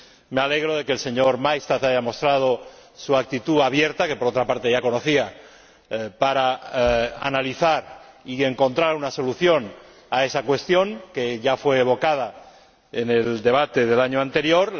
Me alegro de que el señor Maystadt haya mostrado su actitud abierta que por otra parte ya conocía para analizar y encontrar una solución a esa cuestión, que ya fue evocada en el debate del año anterior.